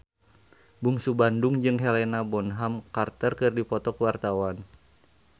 Bungsu Bandung jeung Helena Bonham Carter keur dipoto ku wartawan